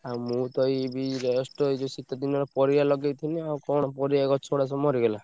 ଆଉ ମୁଁ ତ ଏଇବି just ଯୋଉ ଶୀତ ଦିନ ପରିବା ଲଗେଇଥିଲି ଆଉ କଣ ପରିବା ଗଛ ଗୁଡା ସବୁ ମରିଗଲା।